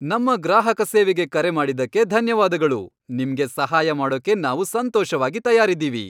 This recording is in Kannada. ನಮ್ಮ ಗ್ರಾಹಕ ಸೇವೆಗೆ ಕರೆ ಮಾಡಿದ್ದಕ್ಕೆ ಧನ್ಯವಾದಗಳು. ನಿಮ್ಗೆ ಸಹಾಯ ಮಾಡೋಕೆ ನಾವು ಸಂತೋಷವಾಗಿ ತಯಾರಿದ್ದೀವಿ.